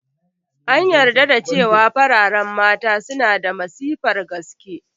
An yarda da cewa fararen Mata suna da matsifar gaske